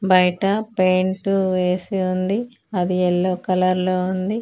బయట పెయింట్ వేసి ఉంది అది ఎల్లో కలర్ లో ఉంది.